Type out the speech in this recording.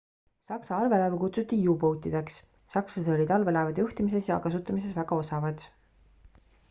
saksa allveelaevu kutsuti u-boat'ideks sakslased olid allveelaevade juhtimises ja kasutamises väga osavad